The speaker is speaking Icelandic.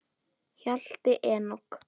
Hjalti Enok.